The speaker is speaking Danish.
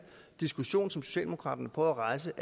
diskussion som socialdemokraterne prøver at rejse